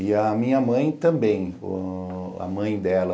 E a minha mãe também, a mãe dela,